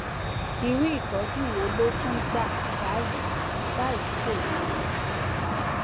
irú ìtọjú wo ló tún gbà báyìí báyìí kò yé mi